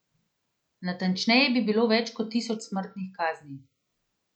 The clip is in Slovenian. Natančneje bi bilo več kot tisoč smrtnih kazni.